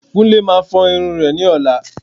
Kúnlé Máa fọ irun rẹ̀ ní ọ̀la